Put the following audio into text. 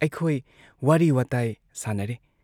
ꯑꯩꯈꯣꯏ ꯋꯥꯔꯤ ꯋꯥꯇꯥꯏ ꯁꯥꯟꯅꯔꯦ ꯫